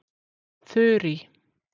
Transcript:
Þurý